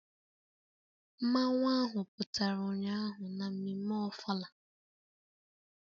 Mmanwu ahụ pụtara ụnyaahụ na mmemme ofala